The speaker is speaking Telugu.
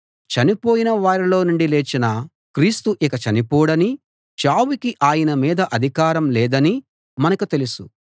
చనిపోయిన వారిలో నుండి లేచిన క్రీస్తు ఇంక చనిపోడనీ చావుకి ఆయన మీద అధికారం లేదనీ మనకు తెలుసు